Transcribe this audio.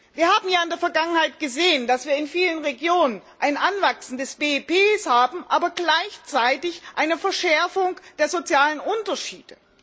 Wir haben ja in der Vergangenheit gesehen, dass wir in vielen Regionen ein Anwachsen des BIP haben, aber gleichzeitig eine Verschärfung der sozialen Unterschiede.